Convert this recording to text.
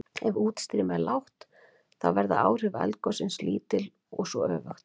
Ef útstreymi er lágt þá verða áhrif eldgossins lítil og svo öfugt.